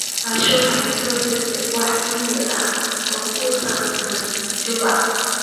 aisha waxay ii soo dirtay wixii iimayl ah oo ku saabsan juma